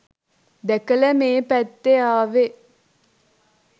දැකල මේ පැත්තෙ ආවෙ